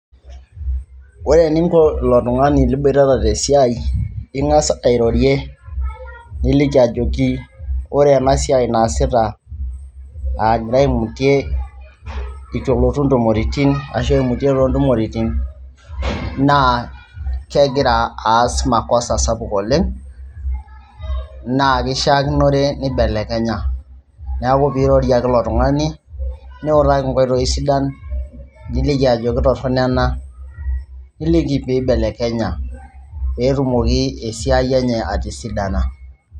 Ore eningo ilo tung'ani liboitata tesiai ing'as airorie niliki ajoki ore ena siai naasita agira aimutie itu elotu intumoritin ashu aimutie toontumoritin naa kegira aas makosa sapuk oleng' naa kishiakinore nibelekenya, neeku piirorie ake ilo tung'ani niutaki inkioitoi sidan, niliki ajoki torrono ena, niliki pee ibelekenya pee etumoki esiai enye atisidana.